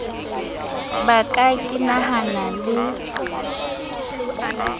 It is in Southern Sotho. ka ba ke hanana le